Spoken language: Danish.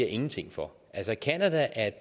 ingenting for altså canada er et